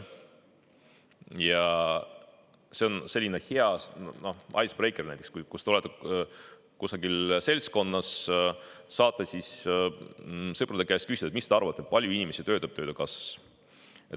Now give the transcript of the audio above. Ja see on selline hea ice breaker näiteks, kui te olete kusagil seltskonnas, saate sõprade käest küsida, et mis te arvate, kui palju inimesi töötab Töötukassas.